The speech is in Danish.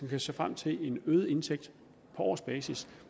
kan se frem til en øget indtægt på årsbasis